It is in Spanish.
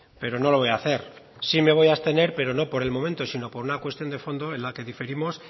pero no lo voy a hacer sí me voy a abstener pero no por el momento sino por una cuestión de fondo en la que diferimos